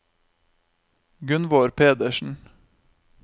Gunnvor Pedersen